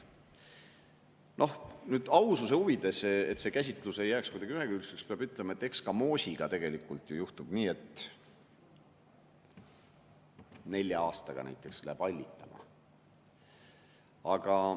Noh, aususe huvides, et see käsitlus ei jääks kuidagi ühekülgseks, peab ütlema, et eks ka moosiga tegelikult ju juhtub nii, et nelja aastaga läheb see hallitama.